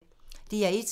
DR1